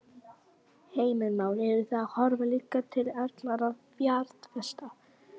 Heimir Már: Eruð þið að horfa líka til erlendra fjárfesta?